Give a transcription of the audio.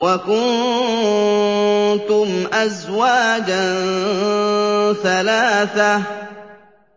وَكُنتُمْ أَزْوَاجًا ثَلَاثَةً